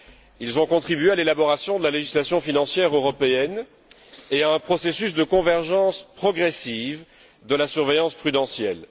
Ils ont contribué à l'élaboration de la législation financière européenne et à un processus de convergence progressive de la surveillance prudentielle.